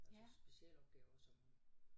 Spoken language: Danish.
Altså specialopgaver og sådan noget